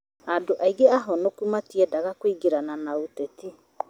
andũ aingĩ ahonoku matiendaga kũingĩrana na ũteti